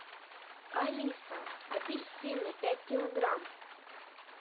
алиса апельсины пять килограмм